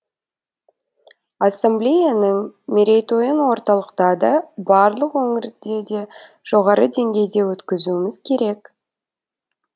ассамблеяның мерейтойын орталықта да барлық өңірде де жоғары деңгейде өткізуіміз керек